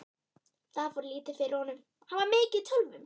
Það fór lítið fyrir honum, hann var mikið í tölvum.